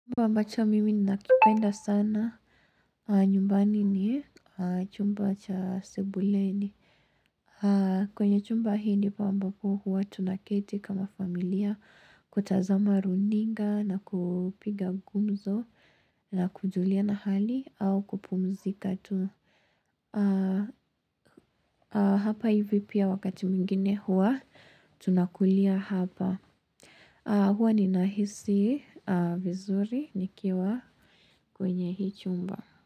Chumba ambacho mimi ninakipenda sana nyumbani ni chumba cha sebuleni kwenye chumba hii ndipo ambapo huwa tunaketi kama familia kutazama runinga na kupiga gumzo na kujuliana hali au kupumzika tu Hapa hivi pia wakati mwingine huwa tunakulia hapa Huwa ninahisi vizuri nikiwa kwenye hii chumba.